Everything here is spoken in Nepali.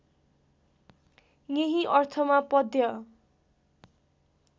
यही अर्थमा पद्य